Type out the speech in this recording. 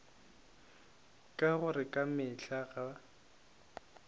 ka gore ka mehla ga